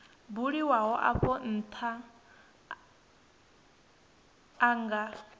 buliwaho afho ntha a nga